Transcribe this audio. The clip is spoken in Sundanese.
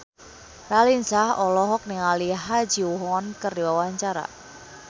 Raline Shah olohok ningali Ha Ji Won keur diwawancara